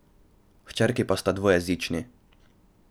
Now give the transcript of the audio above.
Hčerki pa sta dvojezični.